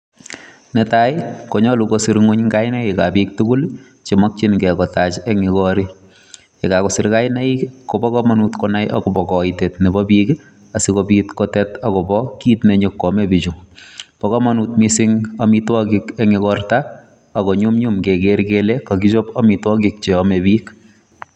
Netai konyolu kosir ngwony kainaikab bik tugul che makyinge kotach eng yu korik. Yegagosir kainaik kobo kamanut konai agobo kaitet nebo pik ii asigopit kotet agobo kit ne nyokwame pichu. Bo kamanut mising amitwogik eng igorta ago nyumnyum keger kele kagichop amitwogik cheame pik.